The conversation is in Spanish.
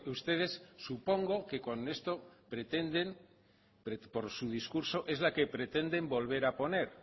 ustedes supongo que con esto pretenden por su discurso es la que pretenden volver a poner